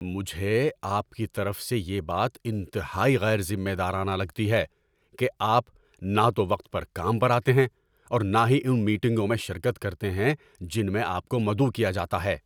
مجھے آپ کی طرف سے یہ بات انتہائی غیر ذمہ دارانہ لگتی ہے کہ آپ نہ تو وقت پر کام پر آتے ہیں اور نہ ہی ان میٹنگوں میں شرکت کرتے ہیں جن میں آپ کو مدعو کیا جاتا ہے۔